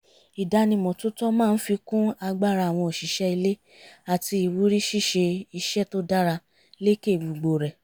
ìdánimọ̀ tó tọ́ máa ń fi kún agbára àwọn òṣìṣẹ́ ilé àti ìwúrí ṣíṣe iṣẹ́ tó dára lékè gbogbo rẹ̀